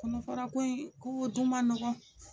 Kɔnɔfara ko in k'o dun ma nɔgɔn.